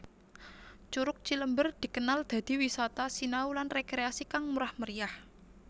Curug Cilember dikenal dadi wisata sinau lan rekreasi kang murah meriah